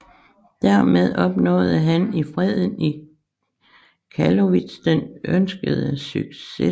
Dermed opnåede han i freden i Karlowitz den ønskede succes